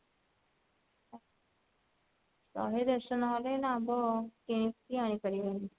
ଶହେ ଦେଢଶହ ନହେଲେ ଏଇନା ଆମ୍ବ କେ କିଣା ହେଇପାରିବନି